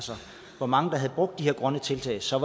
hvor mange der havde brugt de her grønne tiltag så